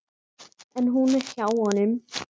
En hún er hjá honum.